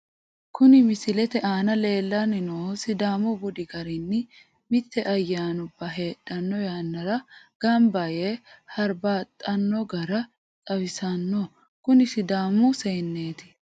Kuni misilete aana lellanni noohu sidaamu budi garinni mite ayyanubba heedhanno yannara gamba yee hurbaaxxanno gara xawissanno, kuni sidaamu seenneeti.